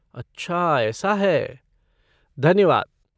अच्छा ऐसा है, धन्यवाद।